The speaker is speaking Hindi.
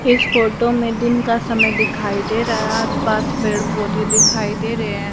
इस फोटो मे दिन का समय दिखाई दे रहा आस पास पेड़ पौधे दिखाई दे रहे हैं।